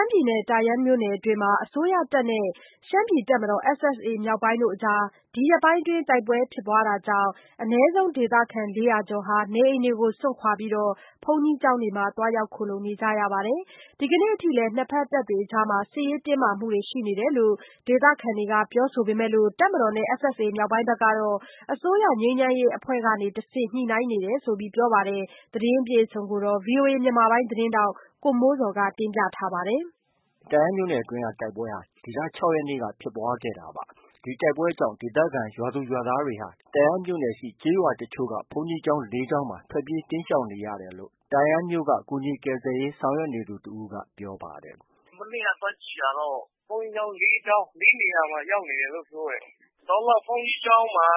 မ်းပြည်နယ် တာယန်းမြို့နယ်အတွင်း အစိုးရ တပ်မတော်နဲ့ ရှမ်းပြည်တပ်မတော်SSA မြောက်ပိုင်းအကြားမှာ ဒီရက်ပိုင်းအတွင်း တိုက်ပွဲဖြစ်ပွားခဲ့တာကြောင့် အနည်းဆုံး ဒေသခံ ၄၀၀ကျော်ဟာ နေအိမ်တွေကို စွန့်ခွာပြီး ဘုန်းကြီးကျောင်းတွေမှာ သွားရောက်ခိုလှုံနေကြရပါတယ်။ ဒီကနေ့အထိလည်း နှစ်ဘက်တပ်တွေအကြားမှာ စစ်ရေးတင်းမာတာတွေ ရှိနေတယ်လို့ ဒေသခံတွေက ပြောဆိုပေမဲ့ တပ်မတော်နဲ့ SSA မြောက်ပိုင်းကတော့ အစိုးရ ငြိမ်းချမ်းရေးအဖွဲ့ကနေတဆင့် ညှိနှိုင်းနေကြောင်း ပြောပါတယ်။ ဒီသတင်းကိုတော့ ဗီအိုအေမြန်မာပိုင်းရဲ့ သတင်းထောက် ကိုမိုးဇော်က တင်ပြထားပါတယ်။ ဟုတ်ကဲ့။ တာယန်းမြို့နယ်အတွင်း တိုက်ပွဲဟာ ဒီလ ၆ရက်နေ့က ဖြစ်ပွားခဲ့တာပါ။ ဒီတိုက်ပွဲကြောင့် ဒေသခံ ရွာသူ၊ ရွာသားတွေဟာ တာယန်းမြို့နယ်ရှိ ကျေးရွာက ဘုန်းကြီးကျောင်း ၄ကျောင်းမှာ ထွက်ပြေးတိမ်းရှောင်နေရတယ်လို့ တာယန်းမြို့က ကူညီကယ်ဆယ်ရေးဆောင်ရွက်နေသူတစ်ဦးက ပြောပါတယ်။ မနေ့က သွားကြည့်တာတော့ ဘုန်းကြီးကျောင်း ၄ကျောင်း၊ ၄နေရာမှာ ရောက်နေတယ်လို့ ပြောတယ်။ တော်လောက် ဘုန်းကြီးကျောင်းမှာ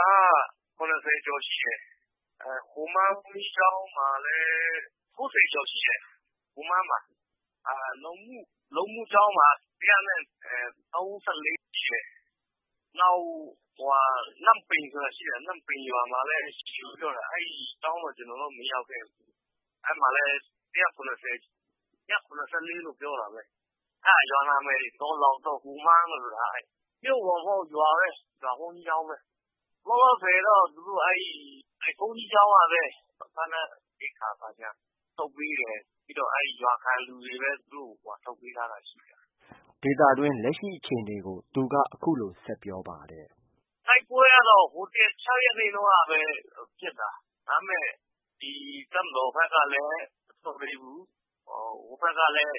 ၇၀ကျော်ရှိတယ်။ ဟိုမန်းဘုန်းကြီးကျောင်းမှာလည်း ၉၀ကျော်ရှိတယ်။ ဟိုမန်းမှာ။ လုံမု ဘုန်းကြီးကျောင်းမှာ ၁၃၄ ရှိတယ်။ နောက် နမ့်ပိန်ဆိုတာရှိတယ်။ နမ့်ပိန်ရွာမှာလည်း သူတို့ ပြောတာ အဲဒီရွာမှာတော့ ကျနော် မရောက်ခဲ့ဘူး။ အဲဒီမှာလည်း ၁၇၀၊ ၁၇၄လို့ ပြောတာပဲ။ အဲဒါ ရွာနာမည်တွေ တော်လောက်တို့၊ ဟိုမန်းတို့ ဆိုတာက။ မြို့ပေါ်မဟုတ်ဘူး။ ရွာပဲ ရွာဘုန်းကြီးကျောင်းပဲ။ လောလောဆည်တော့ သူတို့ကို ဘုန်းကြီးကျောင်းကပဲ စားနပ်ရိက္ခာထုတ်ပေးတယ်။ ပြီးတော့ ရွာခံလူတွေပဲ သူတို့ကို ထုတ်ပေးထား တာ ရှိတယ်။ ဒေသတွင်း လက်ရှိအခြေအနေကို သူက အခုလို ဆက်ပြောပါတယ်။ တိုက်ပွဲကတော့ ဟိုတစ်နေ့ ၆ရက်နေ့တုံးကပဲ ဖြစ်တာ။ ဒါပေမဲ့ တပ်မတော်ဘက်ကလည်း မဆုတ်ပေးဘူး။ ဟိုဘက်ကလည်း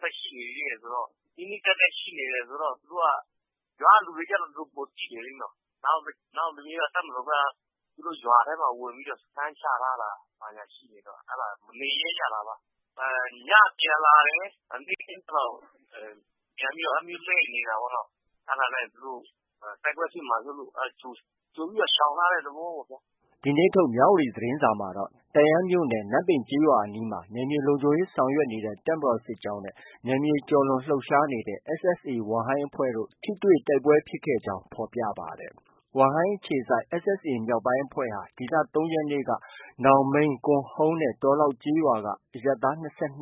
ဆက်ရှိနေတယ်ဆိုတော့ နီးနီးကပ်ကပ်ရှိနေတယ်ဆိုတော့၊ ရွာကလူတွေကျတော့ ပိုသိတယ်လေနော။ နောက် တပ်မတော်ဘက်က သူတို့ ရွာထဲမှာ ဝင်ပြီးတော့ စခန်းချထားတာဘာညာရှိနေတော့ မနေရဲကြတာပါ။ ညပြန်လာတယ် နေ့ခင်းဘက်ကျ လှည့်နေတာပေါ့နော။ အဲဒါနဲ့ သူတို့ တိုက်ပွဲဖြစ်မှာစိုးလို့ ကြိုပြီးတော့ ရှောင်ထားတဲ့သဘောပေ့ါဗျာ။ ဒီနေ့ထုတ် မြဝတီသတင်းစာမှာတော့ တန့်ယန်းမြိ့နယ် နမ့်ပိန်ရွာအနီးမှာ နယ်မြေလုံခြုံရေးဆောင်ရွက်နေတဲ့ တပ်မတော်စစ်ကြောင်းနဲ့ နယ်မြေကျော်လွန်လှုပ်ရှားနေတဲ့ SSA ဝမ်ဟိုင်းအဖွဲ့တို့ ထိတွေ့တိုက်ပွဲဖြစ်ကြောင်း ဖော်ပြပါတယ်။ ဝမ်ဟိုင်းအခြေစိုက် SSA မြောက်ပိုင်းအဖွဲ့ဟာ ဒီလ ၃ရက်နေ့က နောင်မိန်း၊ ကွန်ဟုန်းနဲ့ တော်လောက်ရွာက အရပ်သား ၂၂ဦး၊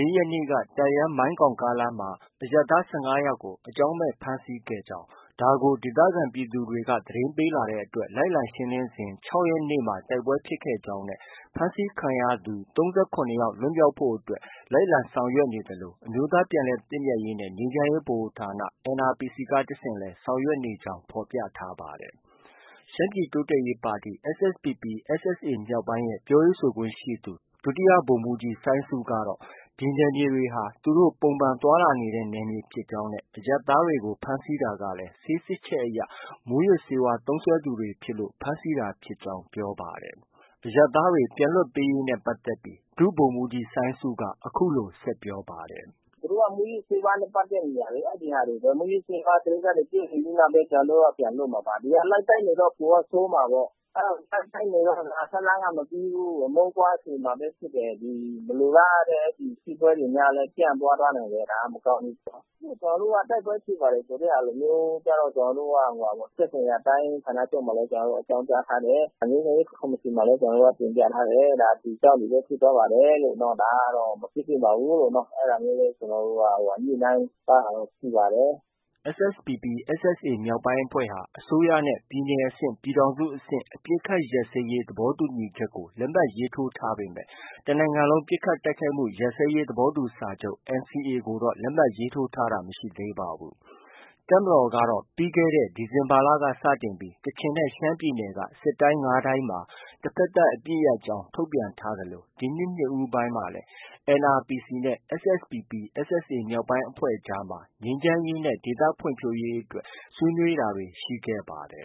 ၄ရက်နေ့က တန့်ယန်း- မိုင်းကောင်ကားလမ်းမှာ အရပ်သား ၁၅ယောက်ကို အကြောင်းမဲ့ ဖမ်းဆီးခေါ်ဆောင်ခဲ့ကြောင်း၊ဒါကို ဒေသခံပြည်သူတွေက သတင်းပေးလာတဲ့အတွက် လိုက်လံရှင်းလင်းစဉ် ၆ရက်နေ့မှာ တိုက်ပွဲဖြစ်ပွားကြောင်းနဲ့ ဖမ်းဆီးခံရသူ ၃၇ယောက်လွတ်မြောက်ဖို့အတွက် လိုက်လံ ဆောင်ရွက်နေသလို အမျိုးသားပြန်လည်သင့်မြတ်ရေးနဲ့ ငြိမ်းချမ်းရေးဗဟိုဌာန NRPC က တစ်ဆင့် ဆောင်ရွက်နေကြောင်း ဖော်ပြထားပါတယ်။ ရှမ်းပြည်တိုးတက်ရေးပါတီ SSPP/SSA မြောက်ပိုင်းရဲ့ ပြောခွင့်ရသူ ဒုဗိုလ်မှုးကြီး စိုင်းဆုကတော့ ဒီနယ်မြေတွေဟာ သူတို့ ပုံမှန်လှုပ်ရှားသွားလာနေတဲ့နယ်မြေဖြစ်ကြောင်း နဲ့ အရပ်သားတွေကို ဖမ်းဆီး တာကလည်း ဆေးစစ်ချက်အရ မူးယစ်ဆေးဝါးသုံးစွဲသူတွေဖြစ်လို့ ဖမ်းဆီးတာဖြစ်ကြောင်း ပြောဆိုပါတယ်။ အရပ်သားတွေ ပြန်လည်လွှတ်ပေးရေးနဲ့ပတ်သက်ပြီး ဒုဗိုလ်မှုးကြီး စိုင်းဆုက အခုလို ဆက်ပြောပါတယ်။ သူတို့က မူးယစ်ဆေးဝါးနဲ့ပတ်သက်နေတာလေ။ အဲဒီဟာလေ မူးယစ်ဆေးဝါးကိစ္စတွေ ပြုပြင်ပြီးမှပဲ ကျနော်တို့က ပြန်လွှတ်မှာပါ။ ဒီဟာ လိုက်တိုက်နေတော့ ပိုဆိုးမှာပေါ့။ လိုက်တိုက်နေတော့ ဇာတ်လမ်းက မပြီးဘူး အမုန်းပွားစေမှာပဲဖြစ်တယ်။ မလိုလားအပ်တဲ့ စစ်ပွဲတွေလည်း ပြန့်ပွားသွားနိုင်တယ် မကောင်းဘူးပေါ့။ ကျနော်တို့က တိုက်ပွဲဖြစ်ပါတယ်ဆိုတဲ့ဟာမျိုးကျတော့ ကျနော်တို့က သက်ဆိုင်ရာတိုင်းဌာနချုပ်မှာလည်း အကြောင်းကြားထားတယ်။ ငြိမ်းချမ်းရေးကော်မရှင်မှာလည်း တင်ပြထားတယ်။ ဒါ ဒီအကြောင်းတွေကြောင့်ပဲ ဖြစ်သွားပါတယ်လို့၊ ဒါမဖြစ်သင့်ပါဘူးလို့ အဲဒါမျိုးလေး ညှိနှိုင်း ထားတာတော့ ရှိပါတယ်။ SSPP/SSA မြောက်ပိုင်းအဖွဲ့ဟာ အစိုးရနဲ့ ပြည်နယ်အဆင့်၊ ပြည်ထောင်စုအဆင့် အပစ်အခတ် ရပ်စဲရေး သဘောတူညီချက်ကို လက်မှတ်ရေးထိုးထားပေမဲ့ တစ်နိုင်ငံလုံး ပစ်ခတ်တိုက်ခိုက်မှု ရပ်စဲရေးသဘောတူစာချုပ် NCA ကိုတော့ လက်မှတ်ရေးထိုးထားတာမရှိသေးပါဘူး။ တပ်မတော်ကတော့ ပြီးခဲ့တဲ ဒီဇင်ဘာလက စတင်ပြီး ကချင်နဲ့ ရှမ်းပြည်နယ်က စစ်တိုင်း ၅တိုင်းမှာ တဘက်သတ်အပစ်ရပ်ကြောင်း ထုတ်ပြန်ထားသလို ဒီနှစ်ဦးပိုင်းမှာလည်း NRPC နဲ့ SSPP/SSA မြောက်ပိုင်းအဖွဲ့အကြားမှာလည်းငြိမ်းချမ်းရေးနဲ့ ဒေသဖွံ့ဖြိုးရေးအတွက် ဆွေးနွေးတာတွေ ရှိခဲ့ပါတယ်